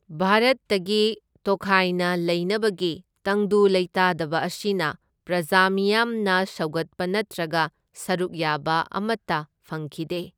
ꯚꯥꯔꯠꯇꯒꯤ ꯇꯣꯈꯥꯏꯅ ꯂꯩꯅꯕꯒꯤ ꯇꯪꯗꯨ ꯂꯩꯇꯥꯗꯕ ꯑꯁꯤꯅ ꯄ꯭ꯔꯥꯖ ꯃꯤꯌꯥꯝꯅ ꯁꯧꯒꯠꯄ ꯅꯠꯇ꯭ꯔꯒ ꯁꯔꯨꯛ ꯌꯥꯕ ꯑꯃꯇ ꯐꯪꯈꯤꯗꯦ꯫